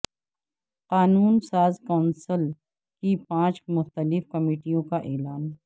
قانون ساز کونسل کی پانچ مختلف کمیٹیوں کا اعلان